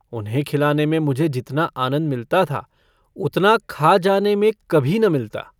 उन्हें खिलाने में मुझे जितना आनन्द मिलता था उतना खा जाने में कभी न मिलता।